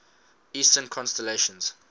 eastern constellations